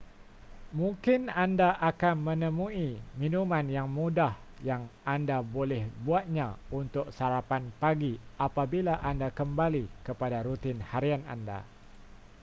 mungkin anda akan menemui minuman yang mudah yang anda boleh buatnya untuk sarapan pagi apabila anda kembali kepada rutin harian anda